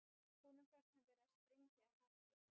Honum fannst hann vera að springa af hamingju.